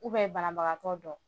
banabagatɔ dɔ